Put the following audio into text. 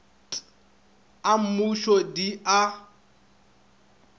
t a mmuso di a